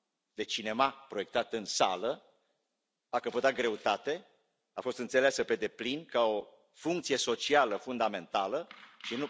de cinema proiectat în sală, a căpătat greutate, a fost înțeleasă pe deplin ca o funcție socială fundamentală și